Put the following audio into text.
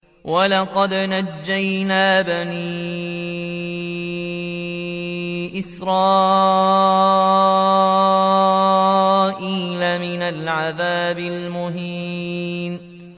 وَلَقَدْ نَجَّيْنَا بَنِي إِسْرَائِيلَ مِنَ الْعَذَابِ الْمُهِينِ